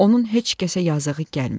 Onun heç kəsə yazığı gəlmir.